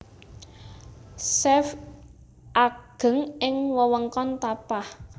Safee ageng ing wewengkon Tapah